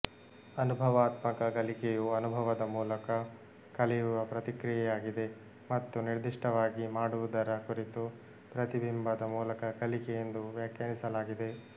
ಅನುಭವಾತ್ಮಕ ಕಲಿಕೆಯು ಅನುಭವದ ಮೂಲಕ ಕಲಿಯುವಪ್ರಕ್ರಿಯೆಯಾಗಿದೆ ಮತ್ತು ನಿರ್ದಿಷ್ಟವಾಗಿ ಮಾಡುವುದರ ಕುರಿತು ಪ್ರತಿಬಿಂಬದ ಮೂಲಕ ಕಲಿಕೆ ಎಂದು ವ್ಯಾಖ್ಯಾನಿಸಲಾಗಿದೆ